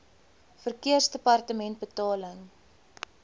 verkeersdepartementebetaling